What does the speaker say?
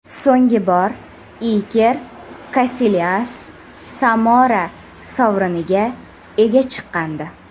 So‘nggi bor Iker Kasilyas Samora sovriniga ega chiqqandi.